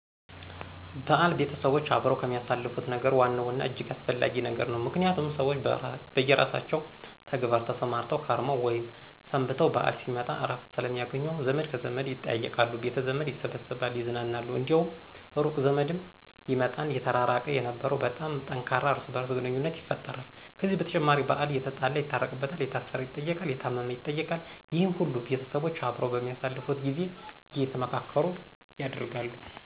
በዓል ቤተሰቦች አብረው ከሚያሳልፉት ነገር ዋናው እና እጅግ አስፈለጊ ነገር ነው። ምክንያቱም ሰዎች በየራሳቸው ተግባር ተሰማርተው ከርመው ወይም ሰንብተው በዓል ሲመጣ እረፍት ስለሚያገኙ ዘመድ ከዘመድ ይጠያየቃሉ፤ ቤተዘመድ ይሰበሰባል ይዝናናሉ፤ እንዲያውም ሩቅ ዘመድም ይመጣና የተራራቀ የነበረው በጣም ጠንካራ እርስ በርስ ግንኙነት ይፈጠራል። ከዚህ በተጨማሪ በዓል የተጣላ ይታረቅበታል፤ የታሰረ ይጠየቃል፤ የታመም ይጠየቃል። ይህነ ሁሉ ቤተሰቦች አብረው በሚያሳልፉት ጊዜ አየተመካከሩ ያደርጋሉ።